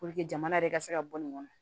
jamana yɛrɛ ka se ka bɔ nin kɔnɔ